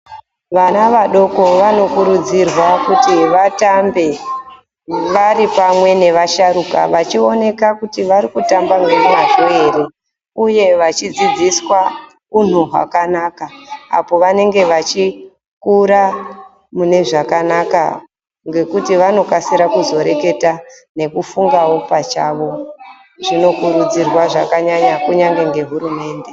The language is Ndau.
Vana vadoko vanokurudzirwa kuti vatambe vari pamwe nevasharuka vachioneka kuti vari kutamba nemwazvo ere uye vachidzidziswa unhu hwakanaka apo vanenge vachikura mune zvakanaka ngekuti vanokasira kuzoreketa nekufungawo pachavo. Zvinokurudzirwa zvakanyanya kunyange ngehurumende.